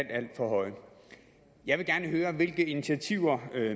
alt for høje jeg vil gerne høre hvilke initiativer